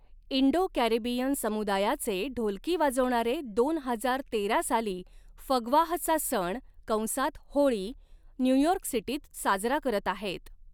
Indo Caribbean समुदायाचे ढोलकी वाजवणारे, दोन हजार तेरा साली फगवाहचा सण कंसात होळी न्यू यॉर्क सिटीत साजरा करत आहेत.